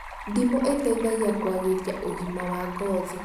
Ndimũ ĩteithagia kũagĩria ũgima wa ngothi